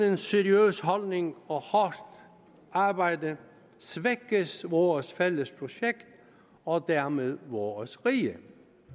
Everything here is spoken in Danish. en seriøs holdning og hårdt arbejde svækkes vores fælles projekt og dermed vores rige